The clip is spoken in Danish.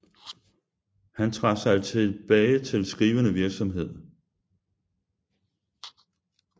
Han trak sig tilbage til skrivende virksomhed